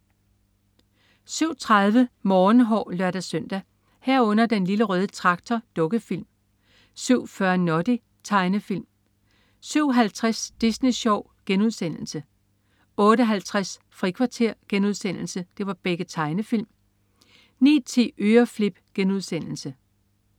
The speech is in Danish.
07.30 Morgenhår (lør-søn) 07.30 Den Lille Røde Traktor. Dukkefilm 07.40 Noddy. Tegnefilm 07.50 Disney Sjov.* Tegnefilm * 08.50 Frikvarter.* Tegnefilm 09.10 Øreflip*